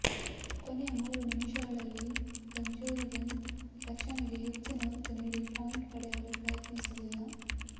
ಕೊನೆಯ ಮೂರು ನಿಮಿಷಗಳಲ್ಲಿ ಗಂಜೊರಿಗಿನ್ ರಕ್ಷಣೆಗೆ ಹೆಚ್ಚಿನ ಒತ್ತು ನೀಡಿ ಪಾಯಿಂಟ್ ಪಡೆಯಲು ಪ್ರಯತ್ನಿ ಸಲಿಲ್ಲ